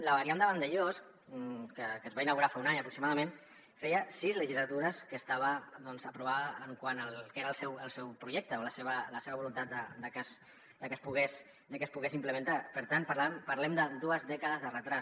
la variant de vandellòs que es va inaugurar fa un any aproximadament feia sis legislatures que estava doncs aprovada quant al que era el seu projecte o la seva voluntat de que es pogués implementar per tant parlem de dues dècades de retard